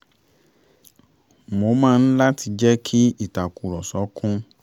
mo máa ń láti jẹ́ kí ìtàkùrọ̀sọ kún